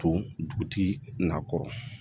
To dugutigi na kɔrɔ